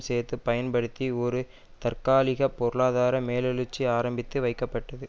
சேர்த்து பயன்படுத்தி ஒரு தற்காலிக பொருளாதார மேலெழுச்சி ஆரம்பித்து வைக்கப்பட்டது